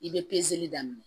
I bɛ pezeli daminɛ